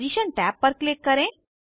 position tab पर click करें